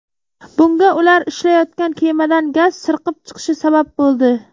Bunga ular ishlayotgan kemadan gaz sirqib chiqishi sabab bo‘ldi.